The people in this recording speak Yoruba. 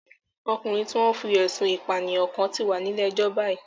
Ọkùnrin tí wọ́n fí ẹ̀sun ìpànìyàn kán ti wà nílé ẹjọ́ báyìí